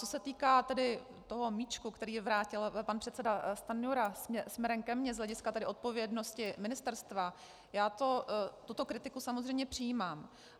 Co se týká tedy toho míčku, který vrátil pan předseda Stanjura směrem ke mně z hlediska tedy odpovědnosti ministerstva, já tuto kritiku samozřejmě přijímám.